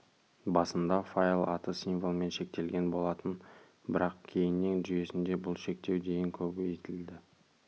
басында файл аты символмен шектелген болатын бірақ кейіннен жүйесінде бұл шектеу дейін көбейтілді